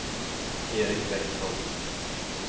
Eric Bäckman